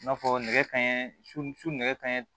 I n'a fɔ nɛgɛ kanɲɛ suɛgɛɲɛ